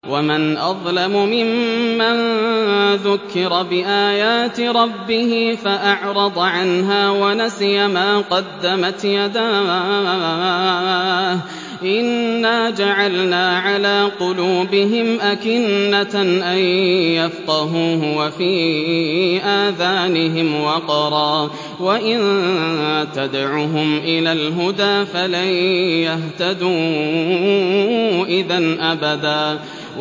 وَمَنْ أَظْلَمُ مِمَّن ذُكِّرَ بِآيَاتِ رَبِّهِ فَأَعْرَضَ عَنْهَا وَنَسِيَ مَا قَدَّمَتْ يَدَاهُ ۚ إِنَّا جَعَلْنَا عَلَىٰ قُلُوبِهِمْ أَكِنَّةً أَن يَفْقَهُوهُ وَفِي آذَانِهِمْ وَقْرًا ۖ وَإِن تَدْعُهُمْ إِلَى الْهُدَىٰ فَلَن يَهْتَدُوا إِذًا أَبَدًا